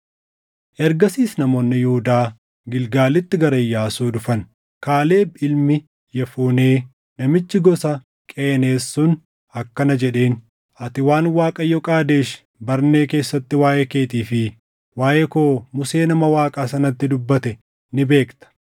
Ergasiis namoonni Yihuudaa Gilgaalitti gara Iyyaasuu dhufan; Kaaleb ilmi Yefunee namichi gosa Qeneez sun akkana jedheen; “Ati waan Waaqayyo Qaadesh Barnee keessatti waaʼee keetii fi waaʼee koo Musee nama Waaqaa sanatti dubbate ni beekta.